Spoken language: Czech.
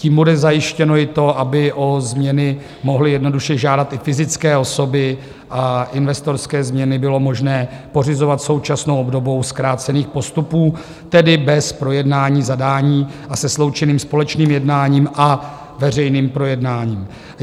Tím bude zajištěno i to, aby o změny mohly jednoduše žádat i fyzické osoby a investorské změny bylo možné pořizovat současnou obdobou zkrácených postupů, tedy bez projednání zadání a se sloučeným společným jednáním a veřejným projednáním.